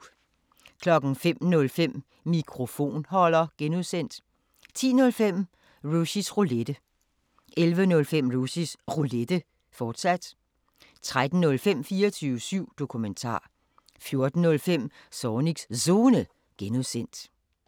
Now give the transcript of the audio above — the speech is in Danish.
05:05: Mikrofonholder (G) 10:05: Rushys Roulette 11:05: Rushys Roulette, fortsat 13:05: 24syv Dokumentar 14:05: Zornigs Zone (G)